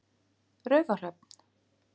Raufarhöfn